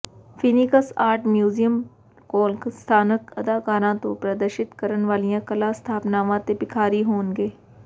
Phoenix art museum ਕੋਲ ਸਥਾਨਕ ਕਲਾਕਾਰਾਂ ਤੋਂ ਪ੍ਰਦਰਸ਼ਿਤ ਕਰਨ ਵਾਲੀਆਂ ਕਲਾ ਸਥਾਪਨਾਵਾਂ ਅਤੇ ਭਿਖਾਰੀ ਹੋਣਗੇ